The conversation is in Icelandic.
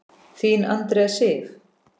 Þín Andrea Sif.